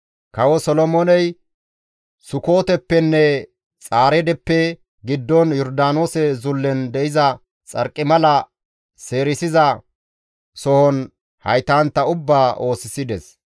Kawo Solomooney Sukooteppenne Xaaredeppe giddon Yordaanoose zullen de7iza xarqimala seerisiza sohon haytantta ubbaa oosisides.